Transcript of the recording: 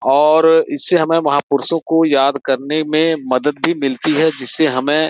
और इससे हमें महापुरुषों को याद करने में मदद भी मिलती है जिससे हमें --